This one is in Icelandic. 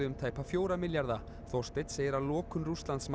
um tæpa fjóra milljarða Þorsteinn segir að lokun